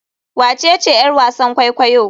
Wacece yar wasan kwaikwayo?